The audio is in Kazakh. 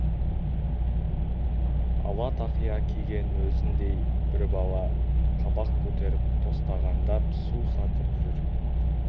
ала тақия киген өзіндей бір бала қабақ көтеріп тостағандап су сатып жүр